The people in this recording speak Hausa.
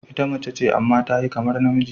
Ita mace ce amma ta yi kamar namiji.